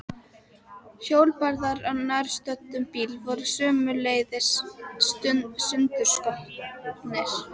Hjólbarðar á nærstöddum bíl voru sömuleiðis sundurskotnir.